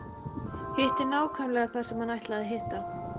Hitti nákvæmlega þar sem hann ætlaði að hitta.